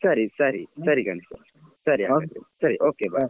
ಸರಿ ಸರಿ ಸರಿ ಗಣೇಶ್ ಸರಿ okay bye .